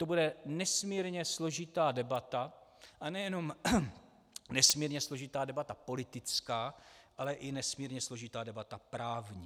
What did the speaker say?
To bude nesmírně složitá debata, a nejenom nesmírně složitá debata politická, ale i nesmírně složitá debata právní.